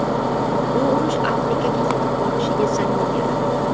Bu urush Afrikaga yetib borishiga zamin yaratdi.